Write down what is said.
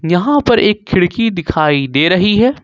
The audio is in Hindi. यहां पर एक खिड़की दिखाई दे रही है।